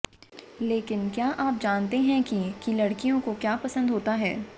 लेकिन क्या आप जानते हैं कि की लड़कियों को क्या पसंद होता है